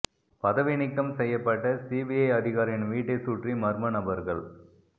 பதவி நீக்கம் செய்யப்பட்ட சிபிஐ அதிகாரியின் வீட்டைச் சுற்றி மர்ம நபர்கள்